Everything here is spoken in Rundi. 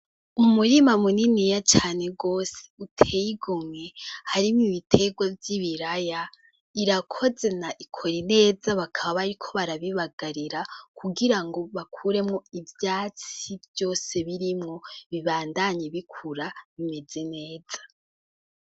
Umurima muniniya cane rwose uteye igomwe harimwo ibitengwa vy’ibiraya irakoze na ikoye neza bakaba bariko barabibagarira kugira ngo bakuremwo ivyatsi vyose birimwo bibandanya bikura neza.